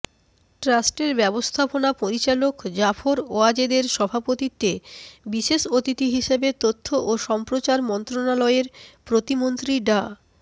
ট্রাস্টের ব্যবস্থাপনা পরিচালক জাফর ওয়াজেদের সভাপতিত্বে বিশেষ অতিথি হিসেবে তথ্য ও সম্প্রচার মন্ত্রণালয়ের প্রতিমন্ত্রী ডা